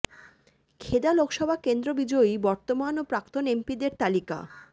খেদা লোকসভা কেন্দ্র বিজয়ী বর্তমান ও প্রাক্তন এমপিদের তালিকা